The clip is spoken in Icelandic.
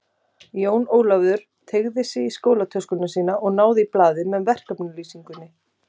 Jón Ólafur teygði sig í skólatöskuna sína og náði í blaðið með verkefnislýsingunni.